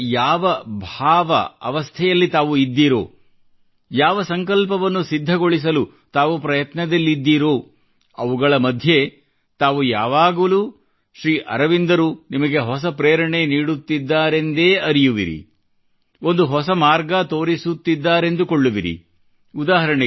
ಜೀವನದ ಯಾವ ಭಾವ ಅವಸ್ಥೆಯಲ್ಲಿ ತಾವು ಇದ್ದೀರೋ ಯಾವ ಸಂಕಲ್ಪವನ್ನು ಸಿದ್ಧಗೊಳಿಸಲು ತಾವು ಪ್ರಯತ್ನದಲ್ಲಿದ್ದೀರೋ ಅವುಗಳ ಮಧ್ಯೆ ತಾವು ಯಾವಾಗಲೂ ಶ್ರೀ ಅರವಿಂದರು ನಿಮಗೆ ಹೊಸ ಪ್ರೇರಣೆ ನೀಡುತ್ತಿದ್ದಾರೆಂದೇ ಭಾವಿಸುವಿರಿ ಒಂದು ಹೊಸ ಮಾರ್ಗ ತೋರಿಸಿತ್ತಿದ್ದಾರೆಂದು ಅರಿಯುವಿರಿ